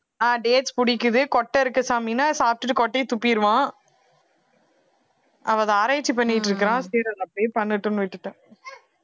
ஆஹ் dates புடிக்குது கொட்டை இருக்கு சாமின்னா சாப்பிட்டுட்டு கொட்டையை துப்பிடுவான் அவன் அதை ஆராய்ச்சி பண்ணிட்டிருக்கிறான் சரி அதை அப்பிடியே பண்ணட்டும்ன்னு விட்டுட்டேன்